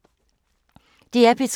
DR P3